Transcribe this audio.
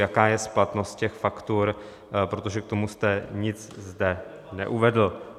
Jaká je splatnost těch faktur, protože k tomu jste nic zde neuvedl.